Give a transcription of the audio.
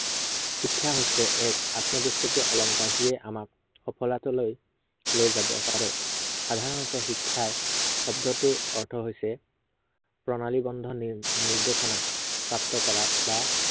শিক্ষা হৈছে এক আত্মৱশ্য়কীয় অলংকাৰ। যিয়ে আমাক, লৈ যাব পাৰে। সাধাৰনতে শিক্ষা শব্দ্টোৰ অৰ্থ হৈছে প্ৰণালীৱদ্ধ নি~নিৰ্দেশনা প্ৰাপ্ত কৰা বা